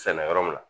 Sɛnɛ yɔrɔ min na